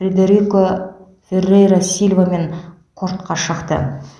фредерико феррейра сильвамен кортқа шықты